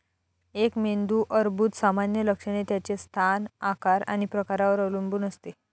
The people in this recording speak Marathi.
एक मेंदू अर्बुद सामान्य लक्षणे त्याचे स्थान, आकार आणि प्रकारावर अवलंबून असते.